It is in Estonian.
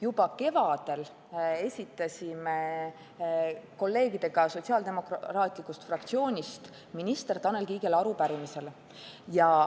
Juba kevadel esitasime kolleegidega sotsiaaldemokraatide fraktsioonist minister Tanel Kiigele arupärimise.